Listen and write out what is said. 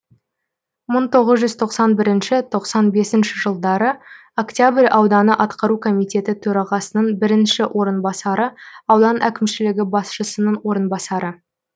мың тоғыз жүз тоқсан бірінші тоқсан бесінші жылдары октябрь ауданы атқару комитеті төрағасының бірінші орынбасары аудан әкімшілігі басшысының орынбасары